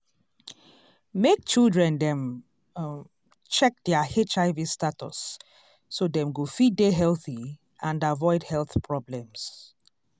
dem dey advise adults um make um dem go for counseling so dem fit dey um strong and healthy